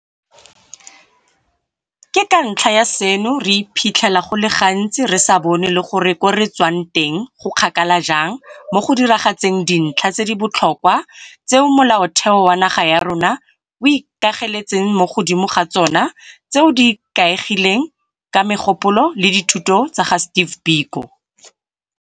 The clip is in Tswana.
Ka ntlha ya seno, re iphitlhela go le gantsi re sa bone le gore ko re tswang go kgakala jang mo go diragatseng dintlha tse di botlhokwa tseo Molaotheo wa naga ya rona o ikageletseng mo godimo ga tsona tseo di ikaegileng ka megopolo le dithuto tsa ga Steve Biko.